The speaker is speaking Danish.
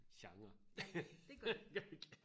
det gør det